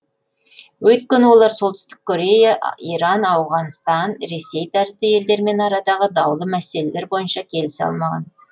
өйткені олар солтүстік корея иран ауғанстан ресей тәрізді елдермен арадағы даулы мәселелер бойынша келісе алмаған